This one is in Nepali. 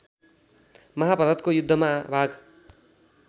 महाभारतको युद्धमा भाग